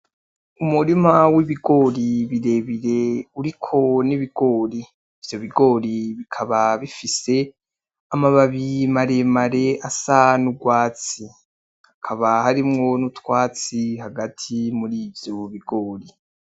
Umurima w'ibigori birebire uriko n'ibigori, ivyo bigori bikaba bifise amababi maremare asa n'urwatsi, hakaba harimwo nutwatsi hagati muri ivyo bigori.